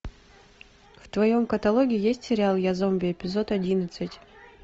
в твоем каталоге есть сериал я зомби эпизод одиннадцать